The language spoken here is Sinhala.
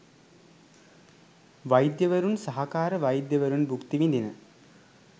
වෛද්‍යවරුන් සහකාර වෛද්‍යවරුන් භුක්ති විදින